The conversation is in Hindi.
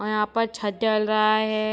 और यहाँ पर छत डल रहा है।